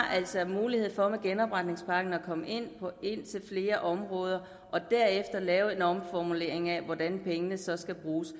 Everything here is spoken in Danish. altså har mulighed for med genopretningspakken at komme ind på flere områder og derefter lave en omformulering af hvordan pengene så skal bruges